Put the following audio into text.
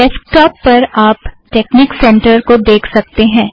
desktop पर आप technique centre को देख सकतें हैं